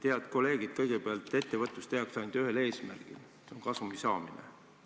Head kolleegid, kõigepealt: ettevõtlust tehakse ainult ühel eesmärgil, see on kasumi saamine.